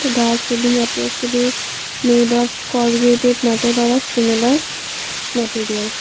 the ceiling appears to be made of corrugated metal or a similar material.